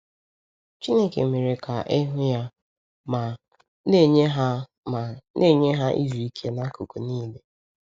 Chineke “mere ka e hụ ya” ma “na-enye ha ma “na-enye ha izu ike n’akụkụ niile.”